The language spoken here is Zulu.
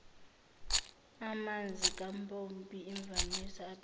amanzikampompi imvamisa aphephile